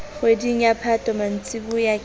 kgweding ya phato mantsiboya ke